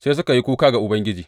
Sai suka yi kuka ga Ubangiji.